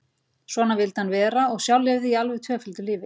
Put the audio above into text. Svona vildi hann vera og sjálf lifði ég alveg tvöföldu lífi.